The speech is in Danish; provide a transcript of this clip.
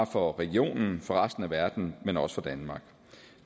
for regionen for resten af verden men også for danmark